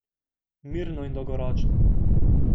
Mirno in dolgoročno.